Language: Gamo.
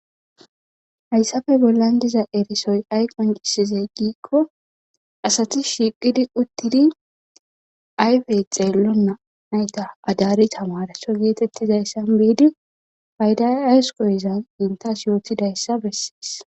Hayssafe bollan diza erisoy ay qoncisizey giikko asati shiiqidi uttidi ayfey xeello naayta adari tamarso geetettizayssan beidi payda aysqoyizan intas yootidayssa bessees.